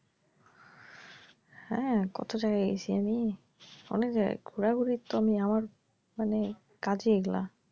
হ্যাঁ কতো জায়গায় গেছি আমি অনেক জায়গায় ঘুরা ঘুরির তো আমি আমার মানে কাজই এগুলা।